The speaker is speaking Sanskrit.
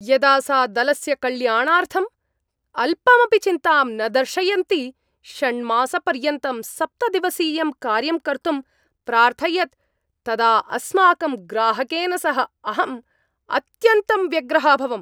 यदा सा दलस्य कल्याणार्थम् अल्पमपि चिन्तां न दर्शयन्ती षण्मासपर्यन्तं सप्तदिवसीयं कार्यं कर्तुं प्रार्थयत् तदा अस्माकं ग्राहकेन सह अहम् अत्यन्तं व्यग्रः अभवम्।